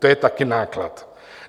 To je taky náklad.